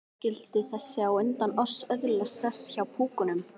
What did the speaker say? Skyldi þessi á undan oss öðlast sess hjá púkunum?